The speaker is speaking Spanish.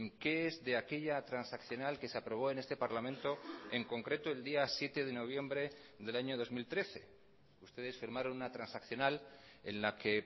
qué es de aquella transaccional que se aprobó en este parlamento en concreto el día siete de noviembre del año dos mil trece ustedes firmaron una transaccional en la que